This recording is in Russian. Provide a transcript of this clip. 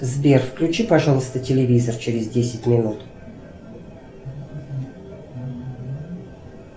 сбер включи пожалуйста телевизор через десять минут